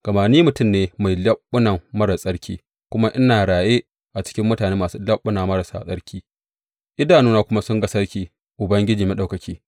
Gama ni mutum ne mai leɓuna marar tsarki, kuma ina raye a cikin mutane masu leɓuna marasa tsarki, idanuna kuma sun ga Sarki, Ubangiji Maɗaukaki.